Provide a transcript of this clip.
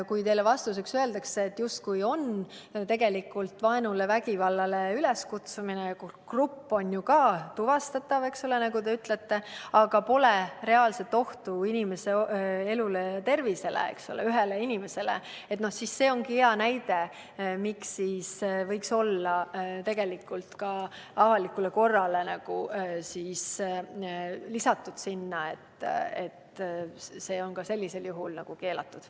Kui teile öeldakse vastuseks, et tegemist on vaenule ja vägivallale üleskutsumisega ning grupp on samuti tuvastatav, eks ole, nagu te ütlete, aga pole reaalset ohtu inimese elule ja tervisele – ühele inimesele –, siis see ongi hea näide, miks võiks olla lisatud ka "avalikule korrale", et ka sellisel juhul oleks keelatud.